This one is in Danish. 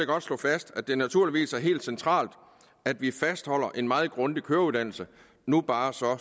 godt slå fast at det naturligvis er helt centralt at vi fastholder en meget grundig køreuddannelse nu bare så